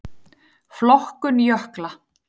Flokkun jökla